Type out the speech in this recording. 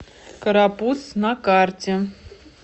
карапуз на карте